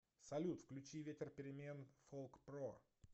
салют включи ветер перемен фолкпро